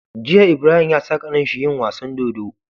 Jiya Ibrahim yasa kanin shi yin wasan dodo